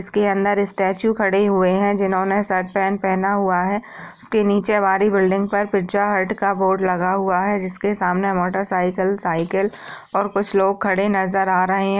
इसके अंदर स्टेचू खड़े हुए हैं जिन्होंने शर्ट - पैंट पहना हुआ है| उसके नीचे हमारी बिल्डिंग पर पिज़्ज़ा हट का बोर्ड लगा हुआ है जिसके सामने मोटर साइकिल साइकिल और कुछ लोग खड़े नज़र आ रहे हैं।